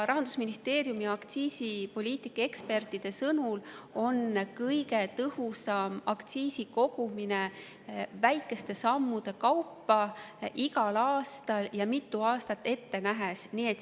Rahandusministeeriumi aktsiisipoliitika ekspertide sõnul on aktsiisi kogumine kõige tõhusam väikeste sammude kaupa igal aastal ja mitu aastat ette nähes.